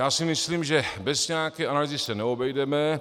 Já si myslím, že bez nějaké analýzy se neobjedeme.